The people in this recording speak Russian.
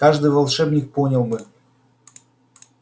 каждый волшебник понял бы